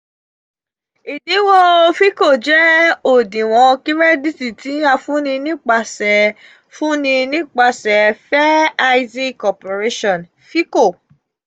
idinwon fico jje odinwon kirẹdiiti ti a funni nipasẹ funni nipasẹ fair isaac corporation fico